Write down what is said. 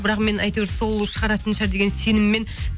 бірақ мен әйтеуір сол шығаратын шығар деген сеніммен